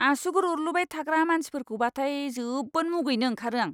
आसुगुर अरलुबाय थाग्रा मानसिफोरखौबाथाय जोबोद मुगैनो ओंखारो आं!